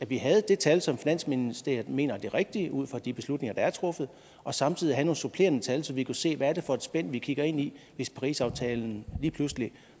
vi havde det tal som finansministeriet mener er det rigtige ud fra de beslutninger der er truffet og samtidig havde nogle supplerende tal så vi kunne se hvad det er for et spænd vi kigger ind i hvis parisaftalen lige pludselig